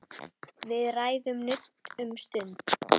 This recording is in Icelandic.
Við ræðum nudd um stund.